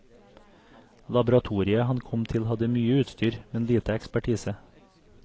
Laboratoriet han kom til hadde mye utstyr, men lite ekspertise.